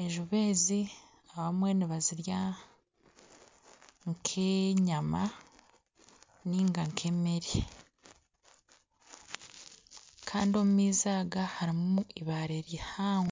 enjubu ezi abamwe nibazirya nkenyama ninga nkemere Kandi omumaizi aga harimu eibare rihango.